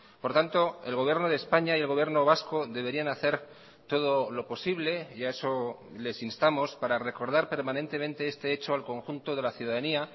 por tanto el gobierno de españa y el gobierno vasco deberían hacer todo lo posible y a eso les instamos para recordar permanentemente este hecho al conjunto de la ciudadanía